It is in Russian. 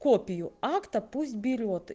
копию акта пусть берет